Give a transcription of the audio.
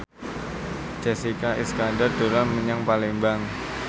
Jessica Iskandar dolan menyang Palembang